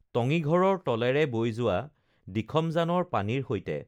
টঙিঘৰৰ তলেৰে বৈ যোৱা দিখমজানৰ পানীৰ সৈতে